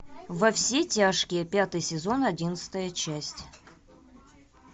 во все тяжкие пятый сезон одиннадцатая часть